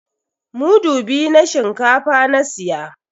Mudu biyu na shinkafa na siya.